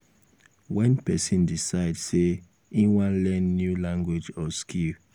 when person decide sey im wan learn new language or skill